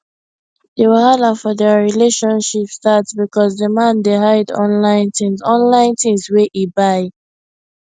d wahala for dia relationship start because d man dey hide online things online things wey e buy